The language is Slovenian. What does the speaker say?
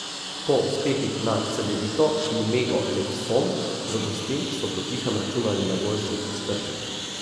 Po uspehih nad Cedevito in Mego Leksom v gosteh so potihem računali na boljši iztržek.